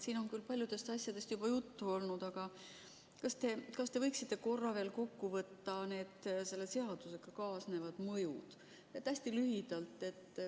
Siin on küll paljudest asjadest juba juttu olnud, aga kas te võiksite korra veel kokku võtta selle seadusega kaasnevad mõjud, hästi lühidalt.